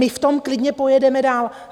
My v tom klidně pojedeme dál.